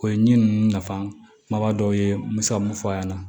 O ye ɲin ninnu nafa kumaba dɔ ye n bɛ se ka mun fɔ a ɲɛna